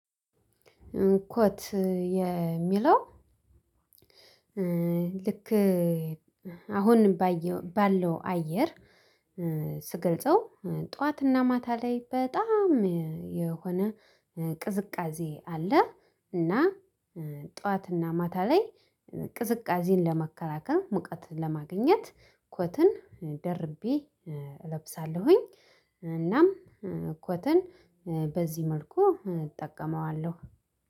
እንኮት የሚለው ልክ አሁንም ባየው ባለው አየር ስገልጸው ጠዋትና ማታ ላይ በጣም የሆነ ቅዝቃዜ አለ። እና ጠዋትና ማታ ላይ ቅዝቃዜን ለመከራከር ሙቀትን ለማግኘት ኮትን ደርቤ እለብሳለሁኝ እናም ኮትን በዚህ መልኩ እጠቀመዋለሁ።